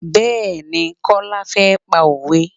Bẹẹni, Kọ́lá fẹ́ pa òwe.